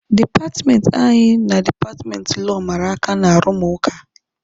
Dipatmenti anyị na dipatmenti Lọọ mara aka n'arụmụka.